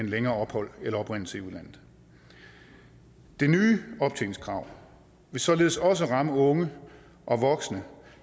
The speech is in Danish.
længere ophold eller oprindelse i udlandet det nye optjeningskrav vil således også ramme unge og voksne